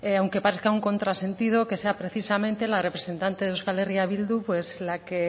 aunque parezca un contrasentido que sea precisamente la representante de euskal herria bildu pues la que